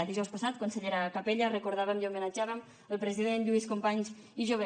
dijous passat consellera capella recordàvem i homenatjàvem el president lluís companys i jover